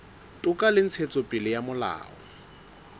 toka le ntshetsopele ya molao